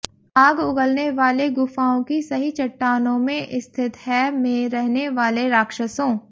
आग उगलने वाले गुफाओं कि सही चट्टानों में स्थित हैं में रहने वाले राक्षसों